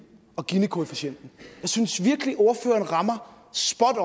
og ginikoefficienten jeg synes virkelig at ordføreren rammer spot